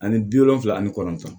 Ani bi wolonfila ani kɔnɔntɔn